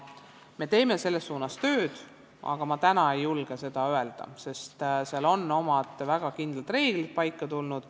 Me teeme selles suunas tööd, aga ma täna ei julge seda öelda, sest seal on omad väga kindlad reeglid paika pandud.